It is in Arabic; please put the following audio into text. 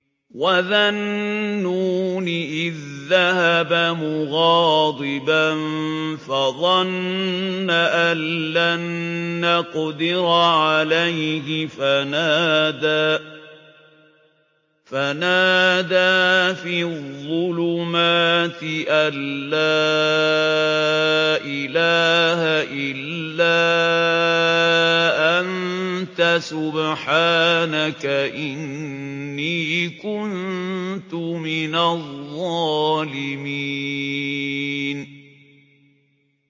وَذَا النُّونِ إِذ ذَّهَبَ مُغَاضِبًا فَظَنَّ أَن لَّن نَّقْدِرَ عَلَيْهِ فَنَادَىٰ فِي الظُّلُمَاتِ أَن لَّا إِلَٰهَ إِلَّا أَنتَ سُبْحَانَكَ إِنِّي كُنتُ مِنَ الظَّالِمِينَ